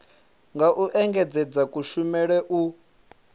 nga u engedzedza kushumele u